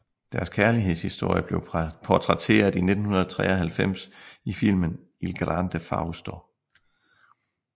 Deres kærlighedshistorie blev portrætteret i 1993 i filmen Il Grande Fausto